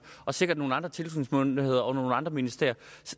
og sikkert nogle andre tilsynsmyndigheder og nogle andre ministerier